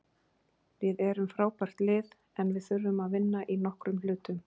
Við erum frábært lið, en við þurfum að vinna í nokkrum hlutum,